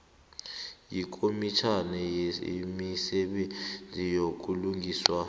yikomitjhana yemisebenzi yobulungiswa